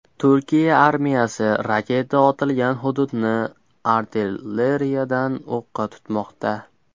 Turkiya armiyasi raketa otilgan hududni artilleriyadan o‘qqa tutmoqda.